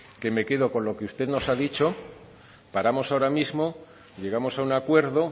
que me quedo con lo que usted nos ha dicho paramos ahora mismo llegamos a un acuerdo